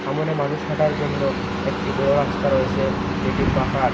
মানুষ হাঁটার জন্য একটি বড়ো রাস্তা রয়েসে যেটি পাখার ।